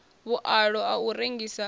vhualo a u rengisa a